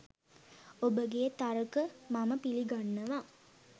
ඔබගේ තර්ක මම පිළිගන්නවා.